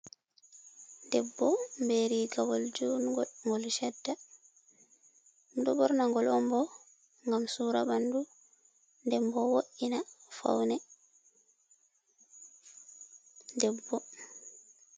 Debbo bee rigawal juungo gol chadda. Ɗum ɗo borna gol on bo ngam sura ɓandu, den bo wo'ina faune debbo.